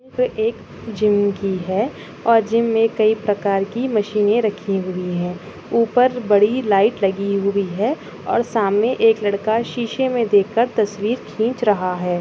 एक जिम की है और जिम मे कई प्रकार की मशीने रखी हुई है। ऊपर बड़ी लाइट लगी हुई है और सामने एक लड़का शीशे मे देखकर तस्वीर खिच रहा है।